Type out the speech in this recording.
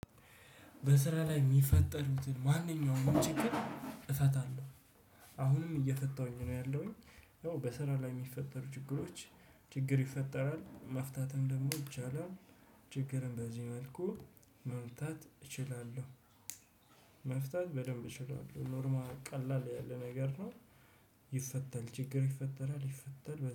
በስራ ላይ የሚፈጠሩትን ማንኛውም ችግር እፈታለሁ። አሁንም እየፈታሁኝ ነው ያለሁኝ። ያው በስራ ላይ የሚፈጠሩ ችግሮች ችግር ይፈጠራል መፍታትም ደግሞ ይቻላል ችግርም በዚህ መልኩ መፍታት እችላለሁ። መፍታት ኖርማል ቀላል የሆና ነገር ነው። ይፈተል ችግር ይፈጠራል ይፈተል